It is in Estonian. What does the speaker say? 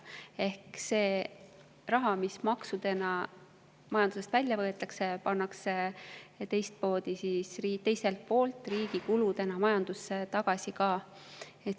Ehk see raha, mis maksudena majandusest välja võetakse, pannakse teiselt poolt riigi kuludena majandusse tagasi ka.